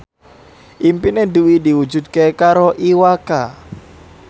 impine Dwi diwujudke karo Iwa K